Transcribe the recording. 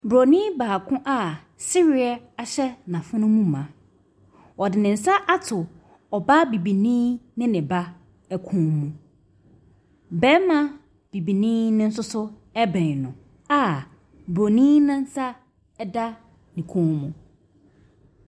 Bronin baako a sereɛ ahyɛ n’afono mu ma, ɔde ne nsa ato ɔbaa bibini ne ne ba kɔn mu. Barima bibini nso bɛn no a bronin ne nsa da ne kɔn mu.